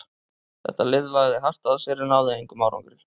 Þetta lið lagði hart að sér en náði engum árangri.